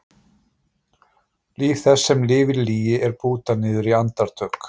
Líf þess sem lifir í lygi er bútað niður í andartök.